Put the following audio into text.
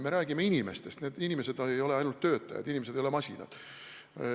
Me räägime inimestest, need inimesed ei ole ainult töötajad, inimesed ei ole masinad.